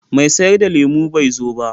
Mai sayar da lemu bai zo ba.